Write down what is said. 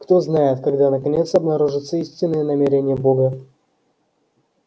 кто знает когда наконец обнаружатся истинные намерения бога